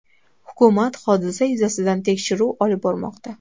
Hukumat hodisa yuzasidan tekshiruv olib bormoqda.